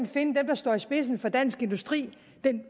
finde dem der står i spidsen for dansk industri